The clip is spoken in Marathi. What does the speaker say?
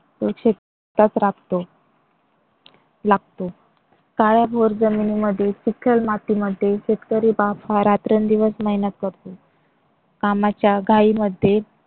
शेतात राबतो. लागतो काळ्याभोर जमिनी मध्ये चिखल मातीमध्ये शेतकरी बाप हा रात्रंदिवस मेहनत करतो. कामाच्या घाईमध्ये